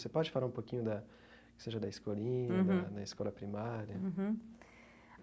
Você pode falar um pouquinho da que seja da escolinha uhum, da na escola primária uhum